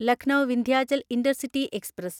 Lucknow Vindhyachal intercity express